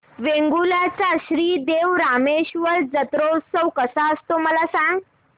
वेंगुर्ल्या चा श्री देव रामेश्वर जत्रौत्सव कसा असतो मला सांग